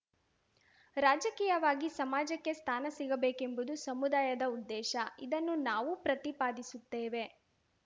ರಾಜಕೀಯವಾಗಿ ಸಮಾಜಕ್ಕೆ ಸ್ಥಾನ ಸಿಗಬೇಕೆಂಬುದು ಸಮುದಾಯದ ಉದ್ದೇಶ ಇದನ್ನು ನಾವೂ ಪ್ರತಿಪಾದಿಸುತ್ತೇವೆ